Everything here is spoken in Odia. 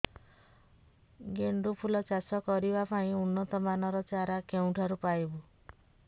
ଗେଣ୍ଡୁ ଫୁଲ ଚାଷ କରିବା ପାଇଁ ଉନ୍ନତ ମାନର ଚାରା କେଉଁଠାରୁ ପାଇବୁ